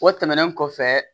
O tɛmɛnen kɔfɛ